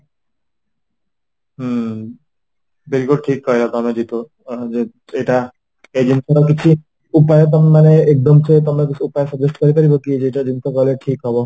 ହୁଁ very good ଠିକ କହିଲା ଜିତୁ ଏଇଟା ଏଇଜିନିଷଟା କିଛି ଉପାୟ ତମେମାନେ ଏକଦମ ସେ ତମେ suggest କରିପାରିବକି ଏଇଟା କଲେ ଠିକ ହବ